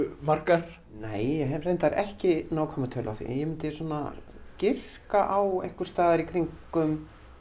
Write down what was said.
margar nei ég hef reyndar ekki nákvæma tölu á því ég myndi svona giska á einhvers staðar í kringum